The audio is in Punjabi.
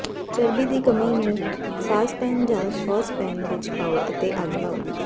ਚਰਬੀ ਦੀ ਕਮੀ ਨੂੰ ਸਾਸਪੈਨ ਜਾਂ ਸੌਸਪੈਨ ਵਿਚ ਪਾਓ ਅਤੇ ਅੱਗ ਲਾਓ